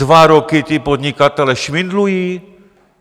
Dva roky ti podnikatelé švindlují?